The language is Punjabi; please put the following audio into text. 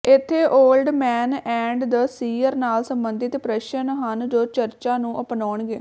ਇੱਥੇ old man and the sea ਨਾਲ ਸਬੰਧਿਤ ਪ੍ਰਸ਼ਨ ਹਨ ਜੋ ਚਰਚਾ ਨੂੰ ਅਪਣਾਉਣਗੇ